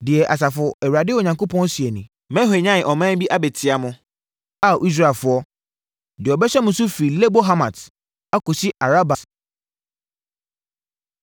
Deɛ Asafo Awurade Onyankopɔn seɛ nie: “Mɛhwanyan ɔman bi abɛtia mo, Ao Israelfoɔ, deɛ ɔbɛhyɛ mo so firi Lebo Hamat akɔsi Araba bɔnhwa mu.”